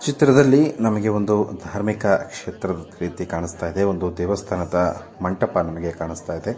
ಚಿತ್ರದಲ್ಲಿ ನಮಗೆ ಒಂದು ಧಾರ್ಮಿಕ ಕ್ಷೇತ್ರದ ರೀತಿ ಕಾಣುಸ್ತಾಯಿದೆ ಒಂದು ದೇವಸ್ಥಾನದ ಮಂಟಪ ನಮಗೆ ಕಾಣುಸ್ತಾಯಿದೆ .